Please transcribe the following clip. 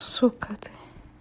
сука ты